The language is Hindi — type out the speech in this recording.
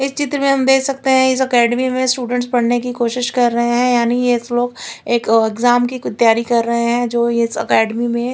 इस चित्र में हम देख सकते है इस एकेडमी में स्टूडेंट पढने कि कोशिश कर रहे है यानी ये लोग एक एग्जाम कि कुछ तयारी कर रहे है जो इस एकेडमी में--